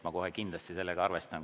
Ma kohe kindlasti sellega arvestan.